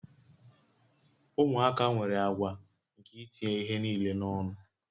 Ụmụaka nwere àgwà nke itinye ihe niile n'ọnụ